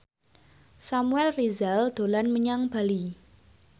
Samuel Rizal dolan menyang Bali